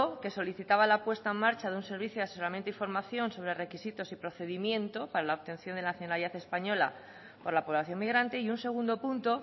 que solicitaba la puesta en marcha de un servicio de asesoramiento y formación sobra requisitos y procedimiento para la obtención de la nacionalidad española por la población migrante y un segundo punto